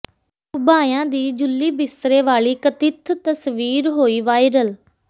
ਘੁਬਾਇਆ ਦੀ ਜੁੱਲੀ ਬਿਸਤਰੇ ਵਾਲੀ ਕਥਿਤ ਤਸਵੀਰ ਹੋਈ ਵਾਇਰਲ